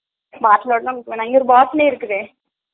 bottle லோட வேணா அத bottle இருக்குதே